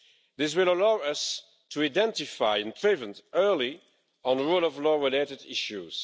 This will allow us to identify and prevent early on rule of law related issues.